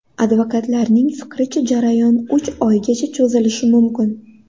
Advokatlarning fikricha, jarayon uch oygacha cho‘zilishi mumkin.